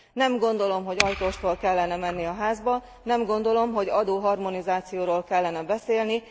Nem gondolom, hogy ajtóstól kellene menni a házba, nem gondolom, hogy adóharmonizációról kellene beszélni.